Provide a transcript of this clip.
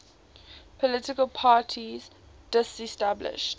political parties disestablished